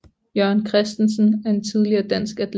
Jørgen Christensen er en tidligere dansk atlet